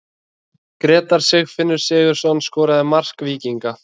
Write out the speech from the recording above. Grétar Sigfinnur Sigurðsson skoraði mark Víkinga.